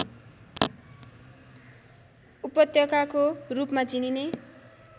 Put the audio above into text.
उपत्यकाको रूपमा चिनिने